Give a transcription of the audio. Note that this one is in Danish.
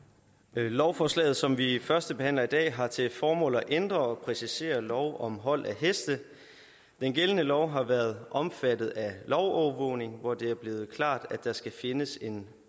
lovforslaget som vi førstebehandler i dag har til formål at ændre og præcisere lov om hold af heste den gældende lov har været omfattet af lovovervågning hvor det er blevet klart at der skal findes en